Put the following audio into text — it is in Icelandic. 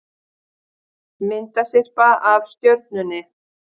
Myndasyrpa af Stjörnunni